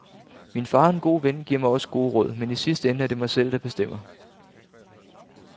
Min far og en god ven giver mig også gode råd, men i sidste ende er det mig selv, der bestemmer.